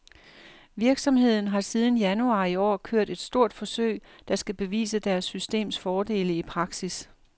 Virksomheden har siden januar i år kørt et stort forsøg, der skal bevise deres systems fordele i praksis.